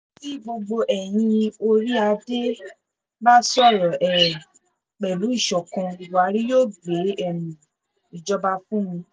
tí gbogbo eyín orí-adé bá sọ̀rọ̀ um pẹ̀lú ìṣọ̀kan buhari yóò gbé um ìjọba fún mi